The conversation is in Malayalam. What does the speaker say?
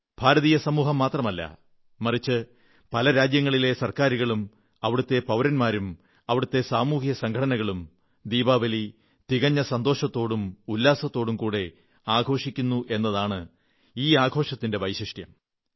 ഭാരതീയ സമൂഹം മാത്രമല്ല മറിച്ച് പല രാജ്യങ്ങളിലെ ഗവൺമെന്റുകളും അവിടത്തെ പൌരന്മാരും അവിടത്തെ സാമൂഹിക സംഘടനകളും ദീപാവലി തികഞ്ഞ സന്തോഷത്തോടും ഉല്ലാസത്തോടും കൂടി ആഘോഷിക്കുന്നു എന്നതാണ് ഈ ആഘോഷത്തിന്റെ വൈശിഷ്ട്യം